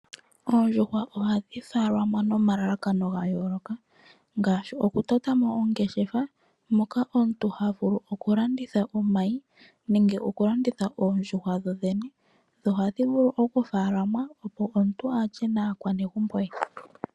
Oondjuhwa ohadhi faalamwa nomalalakano ga yooloka, ngaashi; okutotamo oongeshefa, moka omuntu havulu okulanditha omayi, nenge oondjuhwa dhoodhene. Ohadhi vulu wo okufaalamwa, opo omuntu alye naakwanezimo ye.